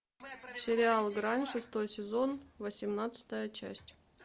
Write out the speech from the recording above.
сериал грань шестой сезон восемнадцатая часть